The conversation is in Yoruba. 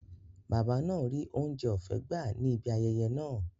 Bàbá náà ríi oúnjẹ ọ̀fẹ́ gbà á ní ibi ayẹyẹ náà